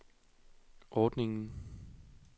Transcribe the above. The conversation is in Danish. ordningen